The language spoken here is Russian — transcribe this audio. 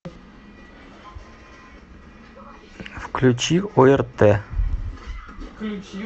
включи орт